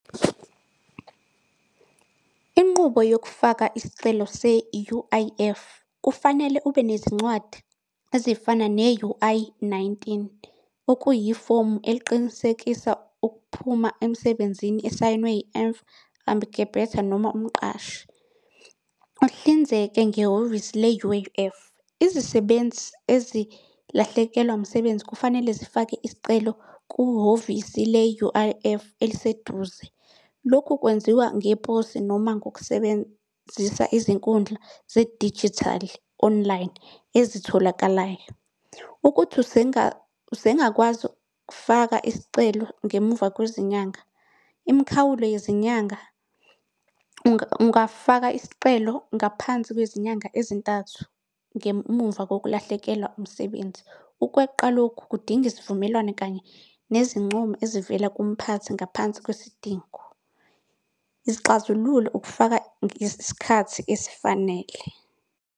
Inqubo yokufaka isicelo se-U_I_F. Kufanele ube nezincwadi ezifana ne-U_I-nineteen, okuyifomu eliqinisekisa ukuphuma emsebenzini esayinwe noma umqashi. Uhlinzeke ngehhovisi le-U_I_F, izisebenzi ezilahlekelwa umsebenzi kufanele zifake isicelo kuhhovisi le-U_I_F eliseduze. Lokhu kwenziwa ngeposi noma ngokusebenzisa izinkundla zedijithali, online ezitholakalayo. Ukuthi usengakwazi ukufaka isicelo ngemuva kwezinyanga. Imikhawulo yezinyanga, ungafaka isicelo ngaphansi kwezinyanga ezintathu ngemuva kokulahlekelwa umsebenzi. Ukweqa lokhu kudinga isivumelwano kanye nezincomo ezivela kumphathi ngaphansi kwesidingo. Izixazululo ukufaka ngesikhathi esifanele.